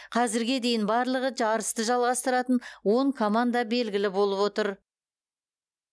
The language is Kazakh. қазірге дейін барлығы жарысты жалғастыратын он команда белгілі болып отыр